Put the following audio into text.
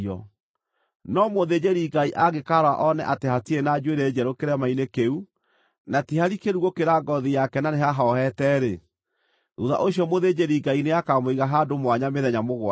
No mũthĩnjĩri-Ngai angĩkaarora one atĩ hatirĩ na njuĩrĩ njerũ kĩrema-inĩ kĩu na ti harikĩru gũkĩra ngoothi yake na nĩhahohete-rĩ, thuutha ũcio mũthĩnjĩri-Ngai nĩakamũiga handũ mwanya mĩthenya mũgwanja.